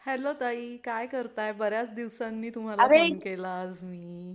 Hello ताई काय करताय? बर्याच दिवसांनी अगं एक तुम्हाला फोन केला आज मी.